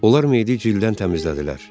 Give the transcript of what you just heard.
Onlar meyidi cildən təmizlədilər.